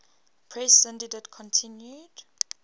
press syndicate continued